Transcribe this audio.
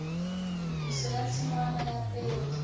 tokiso ya tshingwana ya peo